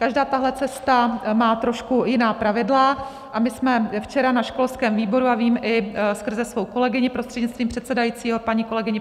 Každá tato cesta má trošku jiná pravidla, a my jsme včera na školském výboru, a vím i skrze svou kolegyni, prostřednictvím předsedajícího paní kolegyni